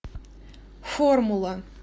формула